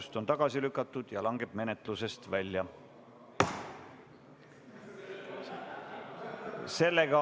Eelnõu on tagasi lükatud ja langeb menetlusest välja.